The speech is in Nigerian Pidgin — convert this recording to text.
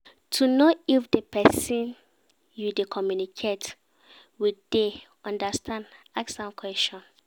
To know if di persin you de communicate with dey understand ask am questions